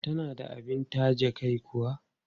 Tana da abin taje kai kuwa?